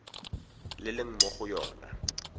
le leng mo go yona